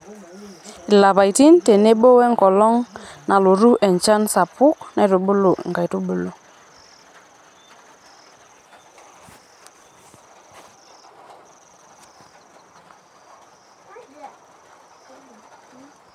Ilapaitin tenebo woenkolong nalotu enchan sapuk naitubulu inkaitubulu